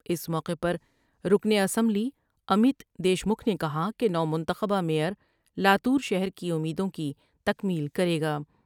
اس موقعے پر رکن اسمبلی امیت دیشمکھ نے کہا کہ نومنتخبہ میئر لا تو رشہر کی امیدوں کی تکمیل کرے گا ۔